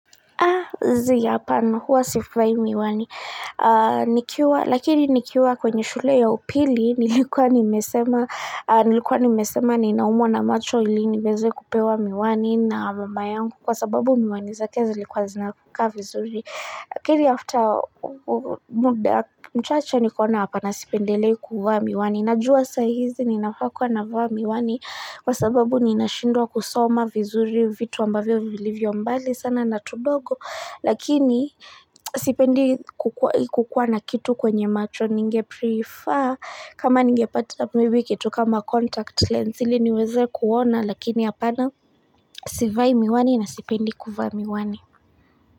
Zii hapana huwa sivai miwani. Lakini nikiwa kwenye shule ya upili nilikuwa nimesema ninaumwa na macho ili niweze kupewa miwani na mama yangu kwa sababu miwani zake zilikuwa zinakaa vizuri. Lakini after muda mchache nikaona hapana sipendelei kuvaa miwani. Najua sahizi ninafaa kuwa navaa miwani. Kwa sababu ninashindwa kusoma vizuri vitu ambavyo vilivyo mbali sana na tudogo. Lakini sipendi kukuwa na kitu kwenye macho ninge prefer. Kama ninge pata maybe kitu kama contact lens ili niweze kuona. Lakini hapana sivai miwani na sipendi kuvaa miwani.